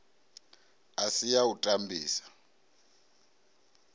a si ya u tambisa